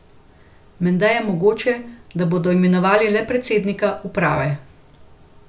Menda je mogoče, da bodo imenovali le predsednika uprave.